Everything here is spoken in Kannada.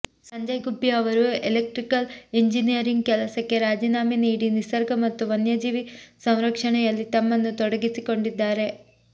ಸಂಜಯ್ ಗುಬ್ಬಿ ಅವರು ಇಲೆಕ್ಟ್ರಿಕಲ್ ಇಂಜಿನಿಯರಿಂಗ್ ಕೆಲಸಕ್ಕೆ ರಾಜೀನಾಮೆ ನೀಡಿ ನಿಸರ್ಗ ಮತ್ತು ವನ್ಯಜೀವಿ ಸಂರಕ್ಷಣೆಯಲ್ಲಿ ತಮ್ಮನ್ನು ತೊಡಗಿಸಿಕೊಂಡಿದ್ದಾರೆ